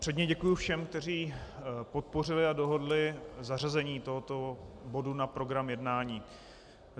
Předně děkuji všem, kteří podpořili a dohodli zařazení tohoto bodu na program jednání.